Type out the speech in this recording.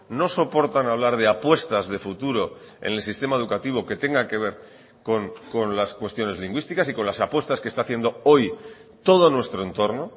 no soportan hablar de apuestas de futuro en el sistema educativo que tenga que ver con las cuestiones lingüísticas y con las apuestas que está haciendo hoy todo nuestro entorno